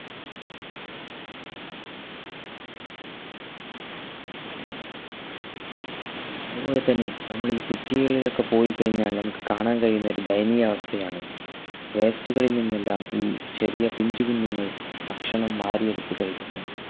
അതുപോലെതന്നെ നമ്മൾ ഈ city കളിൽ ഒക്കെ പോയി കഴിഞ്ഞാൽ നമുക് കാണാൻ കഴിയുന്നൊരു ദയനീയ അവസ്ഥയാണ് waste കളിൽ ന്നിന്നെല്ലാം ഈ ചെറിയ പിഞ്ചു കുഞ്ഞുങ്ങൾ ഭക്ഷണം വാരിയെടുത്തു കഴിക്കുന്നത്